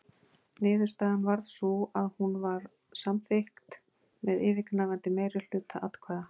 Niðurstaðan varð sú að hún var samþykkt með yfirgnæfandi meirihluta atkvæða.